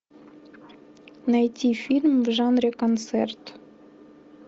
найти фильм в жанре концерт